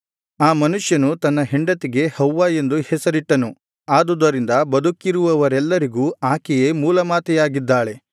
ಆ ಮನುಷ್ಯನು ತನ್ನ ಹೆಂಡತಿಗೆ ಹವ್ವ ಎಂದು ಹೆಸರಿಟ್ಟನು ಆದುದರಿಂದ ಬದುಕಿರುವವರೆಲ್ಲರಿಗೂ ಆಕೆಯೇ ಮೂಲತಾಯಿಯಾಗಿದ್ದಾಳೆ